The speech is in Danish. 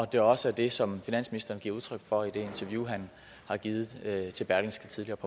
det også er det som finansministeren giver udtryk for i det interview han har givet til berlingske tidende